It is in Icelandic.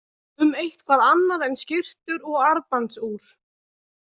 Um eitthvað annað en skyrtur og armbandsúr?